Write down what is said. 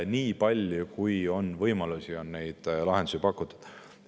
Nii palju, kui on võimalusi, on neid lahendusi pakutud.